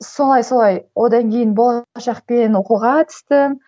солай солай одан кейін болашақпен оқуға түстім